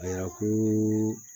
Ayiwa ko